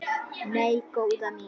Nei, góða mín.